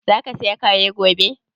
Za ka saya Kare gobe?